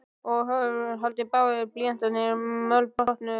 Og hvað haldið þið báðir blýantarnir mölbrotnuðu!